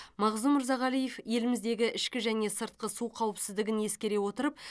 мағзұм мырзағалиев еліміздегі ішкі және сыртқы су қауіпсіздігін ескере отырып